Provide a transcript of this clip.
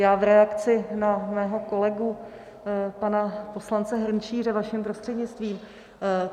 Já v reakci na svého kolegu pana poslance Hrnčíře vaším prostřednictvím.